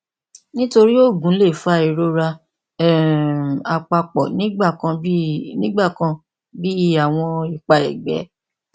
nitori oogun le fa irora um apapo nigbakan bi nigbakan bi awọn ipa ẹgbẹ